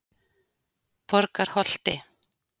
Borgarholti